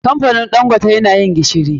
Kamfanin ɗangote na yin gishiri.